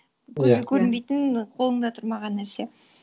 көзге көрінбейтін қолыңда тұрмаған нәрсе